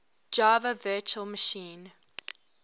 java virtual machine